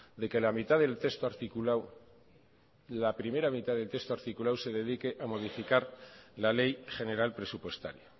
de que la mitad del texto articulado la primera mitad del texto articulado se dedique a modificar la ley general presupuestaria